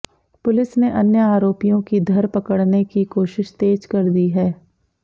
police ने अन्य आरोपियों की धर पकड़ने की कोशिश तेज कर दी है